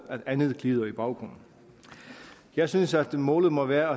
at andet glider i baggrunden jeg synes at målet må være